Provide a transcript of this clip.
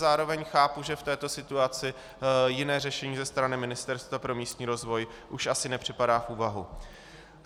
Zároveň chápu, že v této situaci jiné řešení ze strany Ministerstva pro místní rozvoj už asi nepřipadá v úvahu.